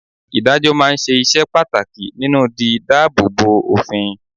Ìdájọ́ máa ń ṣe iṣẹ́ pàtàkì nínú di dáàbò bo òfin.